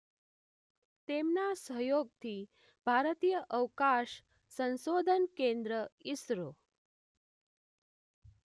તેમના સહયોગથી ભારતીય અવકાશ સંશોધન કેન્દ્ર ઈસરો